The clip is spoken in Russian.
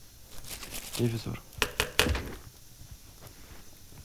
ревизор